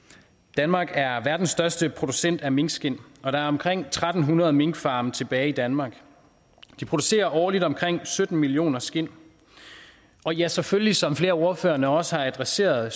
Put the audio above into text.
danmark er verdens største producent af minkskind og der er omkring tre hundrede minkfarme tilbage i danmark de producerer årligt omkring sytten millioner skind og ja selvfølgelig som flere af ordførerne også har adresseret